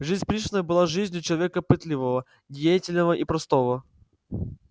жизнь пришвина была жизнью человека пытливого деятельного и простого